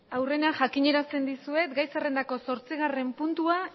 aurrena jakinarazten dizuet gai zerrendako zortzigarren puntua